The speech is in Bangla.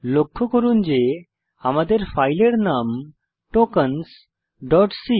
লক্ষ্য করুন যে আমাদের ফাইলের নাম tokensসি